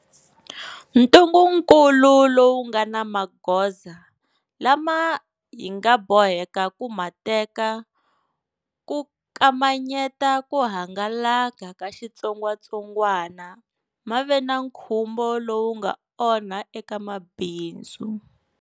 Ntungukulu lowu nga na magoza lama hi nga boheka ku ma teka ku kamanyeta ku hangalaka ka xitsongwatsongwana ma ve na nkhumbo lowu nga onha eka mabindzu.